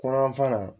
Ko yanfan